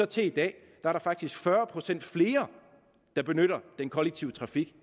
til i dag er der faktisk blevet fyrre procent flere der benytter den kollektive trafik